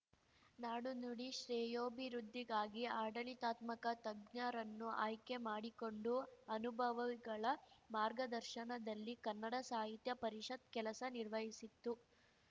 ನಾಡು ನುಡಿ ಶ್ರೇಯೋಭಿವೃದ್ಧಿಗಾಗಿ ಆಡಳಿತಾತ್ಮಕ ತಜ್ಞರನ್ನು ಆಯ್ಕೆ ಮಾಡಿಕೊಂಡು ಅನುಭವವಿಗಳ ಮಾರ್ಗದರ್ಶನದಲ್ಲಿ ಕನ್ನಡ ಸಾಹಿತ್ಯ ಪರಿಷತ್ ಕೆಲಸ ನಿರ್ವಹಿಸಿತ್ತು